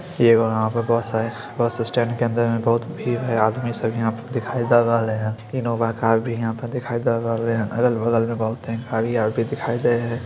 इ एगो वहां बहोत सारे बसस्टैंड के अंदर में बहोत भीड़ है आदमी सब हीया पे दिखाय द रहले हेय दिखाई द रहले हेय अलग-बगल में बहुते दिखाय द रहले हेय।